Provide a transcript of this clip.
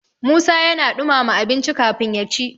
musa yana dumama abinci kafin ya ci